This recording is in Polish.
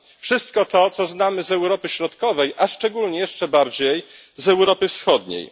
Wszystko to, co znamy z Europy Środkowej, a szczególnie jeszcze bardziej z Europy Wschodniej.